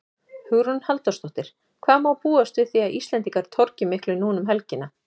Hugrún Halldórsdóttir: Hvað má búast við því að Íslendingar torgi miklu núna um helgina?